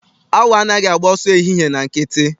Awọ anaghị agba ọsọ ehihie na nkịtị.